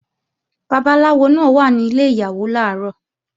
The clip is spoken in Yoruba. Babaláwo náà wà ní ilẹ̀ Ìyàwó làárọ̀